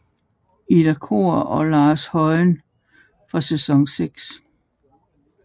Ida Corr og Lau Højen fra sæson 6